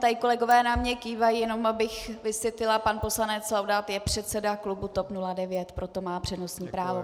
Tady kolegové na mě kývají, jenom abych vysvětlila - pan poslanec Laudát je předseda klubu TOP 09, proto má přednostní právo.